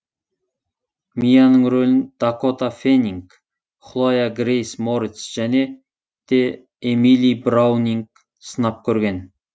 мияның рөлін дакота фэннинг хлоя грейс морец және де эмили браунинг сынап көрген